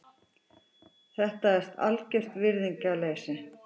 Þetta er algert virðingarleysi.